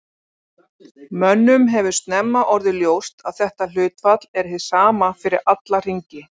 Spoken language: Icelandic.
Mönnum hefur snemma orðið ljóst að þetta hlutfall er hið sama fyrir alla hringi.